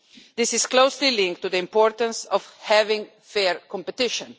This is closely linked to the importance of having fair competition.